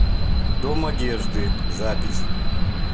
дом одежды запись